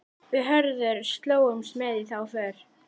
Við Hörður slógumst með í þá för.